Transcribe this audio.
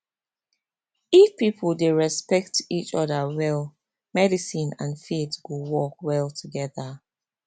if people dey respect each other well medicine and faith go work well together